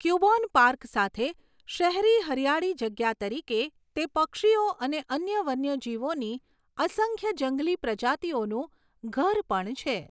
ક્યુબોન Park સાથે શહેરી હરિયાળી જગ્યા તરીકે, તે પક્ષીઓ અને અન્ય વન્યજીવોની અસંખ્ય જંગલી પ્રજાતિઓનું ઘર પણ છે.